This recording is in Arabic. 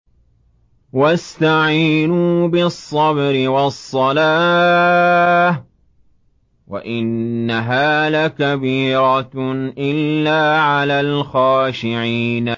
وَاسْتَعِينُوا بِالصَّبْرِ وَالصَّلَاةِ ۚ وَإِنَّهَا لَكَبِيرَةٌ إِلَّا عَلَى الْخَاشِعِينَ